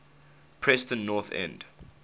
preston north end